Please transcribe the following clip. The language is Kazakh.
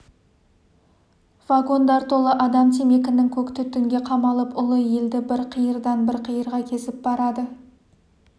вагондар толы адам темекінің көк түтінге қамалып ұлы елді бір қиырдан бір қиырға кезіп барады